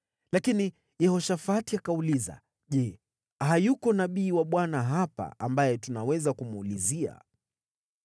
Lakini Yehoshafati akauliza, “Je, hayuko nabii wa Bwana hapa ambaye tunaweza kumuuliza?”